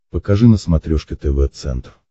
покажи на смотрешке тв центр